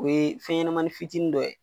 O ye fɛn ɲɛnɛmani fitinin dɔ ye.